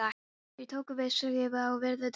Þeir tóku til við að skrifa upp og virða dánarbúið.